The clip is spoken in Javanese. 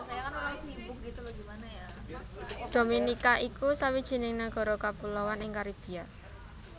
Dominika iku sawijining nagara kapuloan ing Karibia